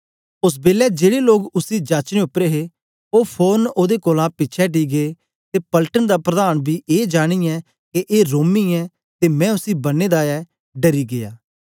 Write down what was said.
ओस बेलै जेड़े लोग उसी जाचने उपर हे ओ फोरन ओदे कोलां पिछें अटी गै ते पलटन दा प्रधान बी ए जानियें के ए रोमी ऐ ते मैं उसी बन्ने दा ऐ डरी गीया